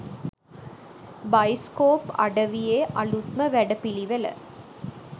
bioscope අඩවියේ අලුත්ම වැඩපිලිවෙල